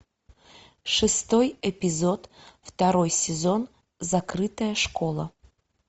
шестой эпизод второй сезон закрытая школа